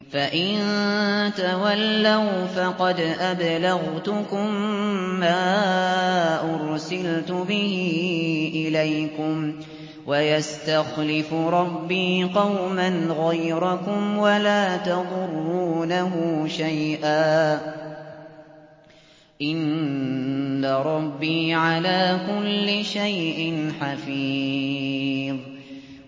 فَإِن تَوَلَّوْا فَقَدْ أَبْلَغْتُكُم مَّا أُرْسِلْتُ بِهِ إِلَيْكُمْ ۚ وَيَسْتَخْلِفُ رَبِّي قَوْمًا غَيْرَكُمْ وَلَا تَضُرُّونَهُ شَيْئًا ۚ إِنَّ رَبِّي عَلَىٰ كُلِّ شَيْءٍ حَفِيظٌ